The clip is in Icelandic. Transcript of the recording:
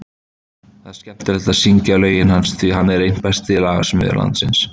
Það er skemmtilegt að syngja lögin hans, því hann er einn besti lagasmiður landsins.